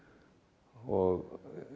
og